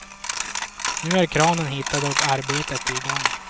Nu är kranen hittad och arbetet i gång.